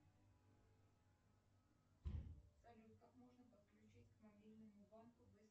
салют как можно подключить к мобильному банку